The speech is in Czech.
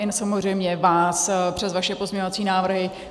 I samozřejmě vás přes vaše pozměňovací návrhy.